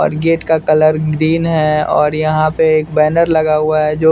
और गेट का colour green है और यहाँ पे एक बैनर लगा हुआ है जो --